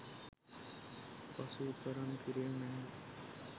පසු විපරම් කිරීම මැනවි.